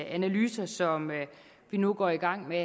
analyser som vi nu går i gang med